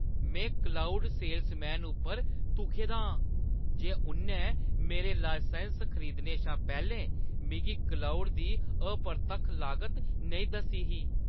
में cloud salesman पर धुखे दा आं जे उʼन्नै मेरे लाइसैंस खरीदने शा पैह्‌लें मिगी क्लाउड दी अपरतक्ख लागत नेईं दस्सी ही।